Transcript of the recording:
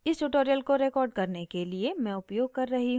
इस tutorial को record करने के लिए मैं उपयोग कर रही हूँ